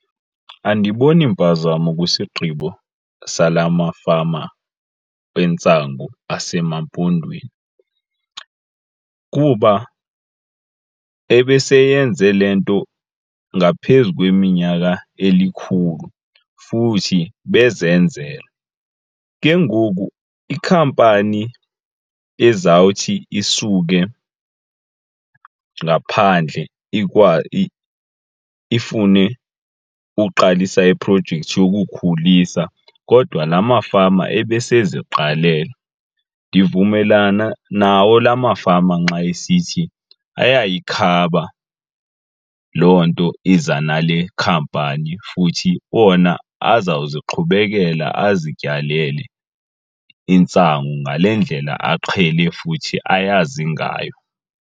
Andiboni mpazamo kwisigqibo sala mafama entsangu aseMampondweni kuba ebeseyenze le nto ngaphezu kweminyaka elikhulu futhi bezenzela. Ke ngoku iikhampani ezawuthi isuke ngaphandle ifune uqalisa iprojekthi yokukhulisa kodwa la mafama ebeseziqalele, ndivumelana nawo la mafama nxa esithi ayayikhaba loo nto iza nale khampani futhi ona azawuziqhubekela azityalele intsangu ngale ndlela aqhele futhi ayazi ngayo.